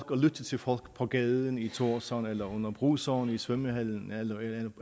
og lytte til folk på gaden i tórshavn eller under bruseren i svømmehallen